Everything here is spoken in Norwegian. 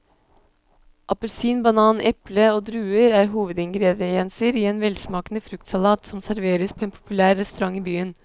Appelsin, banan, eple og druer er hovedingredienser i en velsmakende fruktsalat som serveres på en populær restaurant i byen.